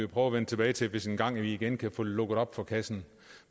prøve at vende tilbage til hvis vi engang igen kan få lukket op for kassen